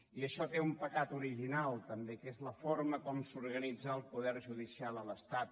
i això té un pecat original també que és la forma com s’organitza el poder judicial a l’estat